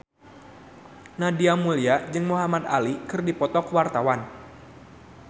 Nadia Mulya jeung Muhamad Ali keur dipoto ku wartawan